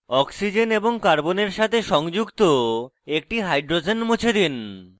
oxygen এবং carbon সাথে সংযুক্ত একটি hydrogens মুছে দিন